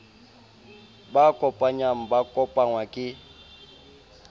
ba kopanyang ba kopangwa ke